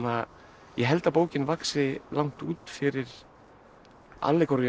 ég held að bókin vaxi langt út fyrir